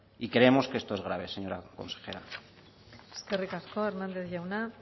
y creemos que esto es grave señora consejera eskerrik asko hernández jauna